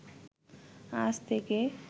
আজ থেকে